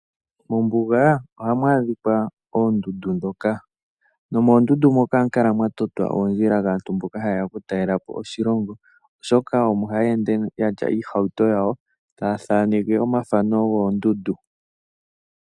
Mombuga ohamu adhika oondundu. Moondundu ohamu kala mwa totwa oondjila kaantu mboka ha ye ya oku talela po oshilongo, oshoka omo ha ya ende niihauto yawo taya thaneke omathano goondundu.